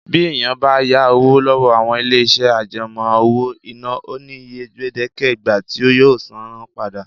Bí èèyàn bá yá owó lọ́wọ́ àwọn ilé-iṣẹ́ àjẹmọ́ owó-ìná, ó ní iye gbèdéke ìgbà tí yóò san án padà